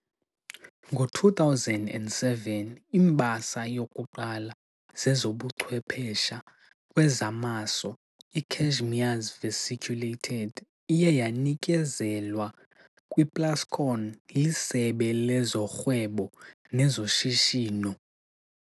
Ngo-2007, imbasa yokuqala zezobuchwephesha kwezamaso iCashmere's Vesiculated iye yanikezelwa kwiPlascon liSebe lezoRhwebo nezoShishino.